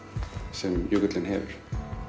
sem jökullinn hefur